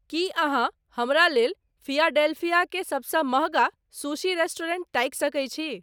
की अहाँ हमरा लेल फिलाडेल्फीया क सबस महँगा शुशी रेस्टोरेंट ताकि सके छी